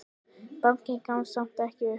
Bankinn gafst samt ekki upp.